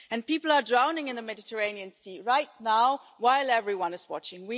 People are drowning in the Mediterranean Sea right now, while everyone is watching.